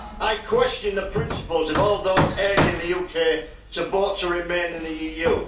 I question the principles of all those urging the UK to vote to remain in the EU.